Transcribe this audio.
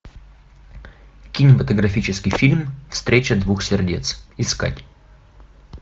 кинематографический фильм встреча двух сердец искать